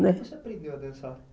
Como você aprendeu a dançar ?